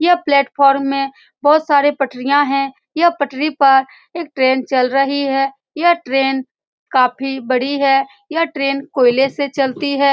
यह प्लेटफार्म में बहोत सारे पटरियां हैं यह पटरी पर एक ट्रेन चल रही है यह ट्रेन काफी बड़ी है यह ट्रेन कोयले से चलती है।